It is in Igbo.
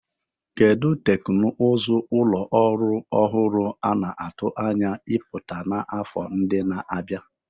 Kedu teknụzụ ụlọ ọrụ ọhụrụ a na-atụ anya ịpụta n'afọ ndị na-abịa?